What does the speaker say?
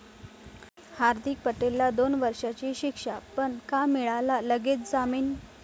हार्दीक पटेलला दोन वर्षींची शिक्षा, पण का मिळाला लगेच जामीन?